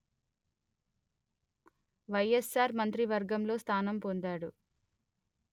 వైఎస్సార్ మంత్రివర్గంలో స్థానం పొందాడు